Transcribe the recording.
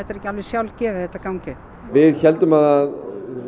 er ekki alveg sjálfgefið að þetta gangi upp við héldum að